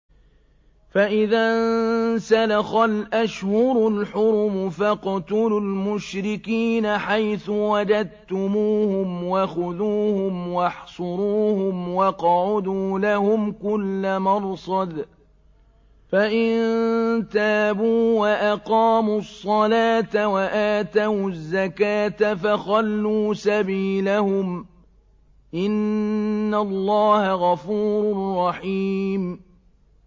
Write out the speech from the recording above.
فَإِذَا انسَلَخَ الْأَشْهُرُ الْحُرُمُ فَاقْتُلُوا الْمُشْرِكِينَ حَيْثُ وَجَدتُّمُوهُمْ وَخُذُوهُمْ وَاحْصُرُوهُمْ وَاقْعُدُوا لَهُمْ كُلَّ مَرْصَدٍ ۚ فَإِن تَابُوا وَأَقَامُوا الصَّلَاةَ وَآتَوُا الزَّكَاةَ فَخَلُّوا سَبِيلَهُمْ ۚ إِنَّ اللَّهَ غَفُورٌ رَّحِيمٌ